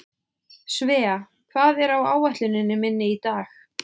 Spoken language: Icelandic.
Svea, hvað er á áætluninni minni í dag?